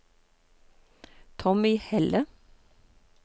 Tommy Helle